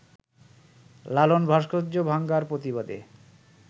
লালন ভাস্কর্য ভাঙার প্রতিবাদে